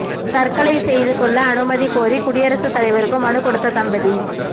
தற்கொலை செய்து கொள்ள அனுமதி கோரி குடியரசு தலைவருக்கு மனு கொடுத்த தம்பதி